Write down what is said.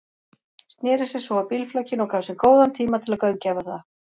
Sneri sér svo að bílflakinu og gaf sér góðan tíma til að gaumgæfa það.